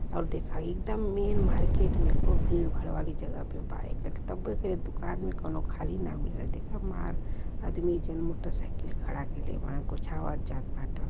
अब देखा एकदम मेन मार्केट में खूब भीड़ भाड़ वाली जगह पे बा। एक तब्बो एकरे दुकान में कौनो खाली ना मिलल। देखा मार आदमी जन मोटरसाइकिल खड़ा कइले बाड़न कुछ आवात जात बाटन।